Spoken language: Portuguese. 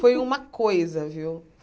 Foi uma coisa, viu?